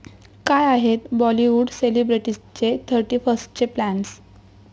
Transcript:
काय आहेत बाॅलिवूड सेलिब्रिटीजचे थर्टीफर्स्टचे प्लॅन्स?